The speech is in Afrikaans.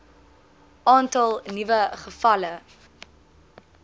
aantal nuwe gevalle